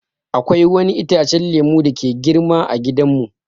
Akwai wani itacen lemu dake girma ã gidan mu.